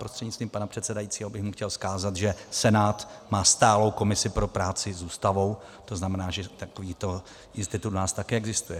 Prostřednictvím pana předsedajícího bych mu chtěl vzkázat, že Senát má stálou komisi pro práci s Ústavou, to znamená, že takovýto institut u nás také existuje.